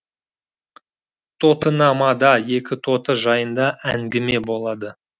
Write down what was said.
тотынамада екі тоты жайында әңгіме болады